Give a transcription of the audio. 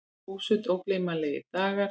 Þúsund ógleymanlegir dagar.